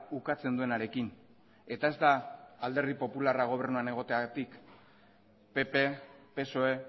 ukatzen duenarekin eta ez da alderdi popularra gobernuan egoteagatik pp psoe